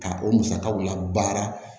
Ka o musakaw labaara